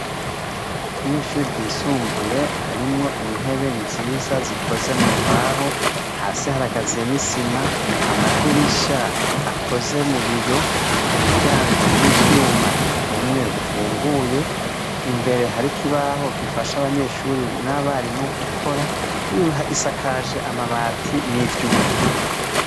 Mw'ishuri ryisumbuye harimwo intebe nziza zikoze mumbaho, hasi harakaziye n'isima, amadirisha akoze mu biyo, imiryango y'ivyuma, umwe ufunguye imbere hari ikibaho gifasha abanyeshuri n'abarimu gukora isakaje amabati n'ivyuma.